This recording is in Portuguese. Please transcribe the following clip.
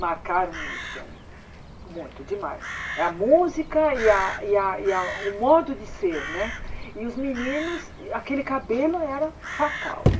marcaram muito para mim muito demais a música e a e a e a o modo de ser né e os meninos aquele cabelo era fatal né